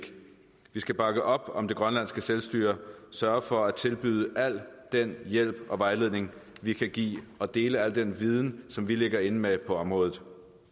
vi skal bakke op om det grønlandske selvstyre og sørge for at tilbyde al den hjælp og vejledning vi kan give og dele al den viden som vi ligger inde med på området